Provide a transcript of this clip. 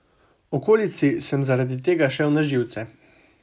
Okolici sem zaradi tega šel na živce.